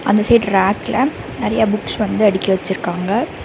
அந்த சைடு ரேக்குல நறைய புக்ஸ் வந்து அடுக்கி வச்சுருக்காங்க.